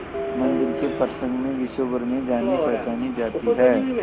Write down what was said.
मंदिर के प्रसंग में विश्वभर में जानीपहचानी जाती है